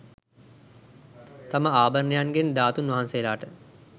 තම ආභරණයන්ගෙන් ධාතූන් වහන්සේලාට